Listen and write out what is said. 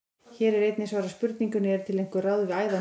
Hér er einnig svarað spurningunum: Eru til einhver ráð við æðahnútum?